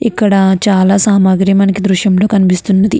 ఇక్కడ చాలా సామాగ్రి మనకి ఈ దృశ్యం లో కనిపిస్తున్నది.